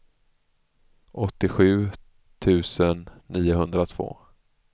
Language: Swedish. åttiosju tusen niohundratvå